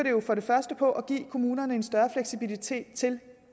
på at give kommunerne en større fleksibilitet til